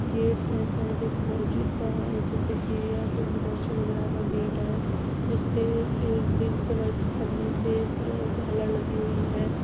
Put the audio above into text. Gate है जो शायद महजिद का है जैसे कि यह कोई मदरसी वगैरा का गेट है। जिसपे ग्रीन कलर की पन्नी से झालर लगी हुई हैं।